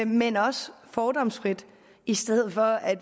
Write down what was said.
men også fordomsfrit i stedet for at